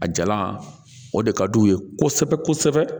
A jalan o de ka d'u ye kosɛbɛ kosɛbɛ